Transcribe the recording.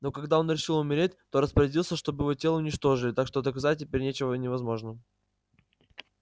но когда он решил умереть то распорядился чтобы его тело уничтожили так что доказать теперь ничего невозможно